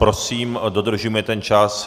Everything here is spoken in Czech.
Prosím dodržujme ten čas.